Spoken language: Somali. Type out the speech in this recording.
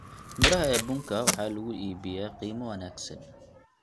Midhaha ee bunka waxay lagu iibiyaa qiimo wanaagsan.